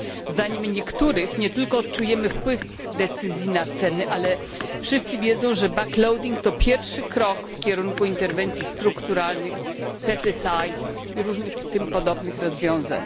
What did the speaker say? Zdaniem niektórych nie tylko odczujemy wpływ decyzji na ceny, ale wszyscy wiedzą, że to pierwszy krok w kierunku interwencji strukturalnych, i różnych tym podobnych rozwiązań.